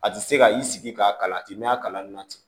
A ti se ka i sigi k'a kalan k'i mɛna a kalan nin na ten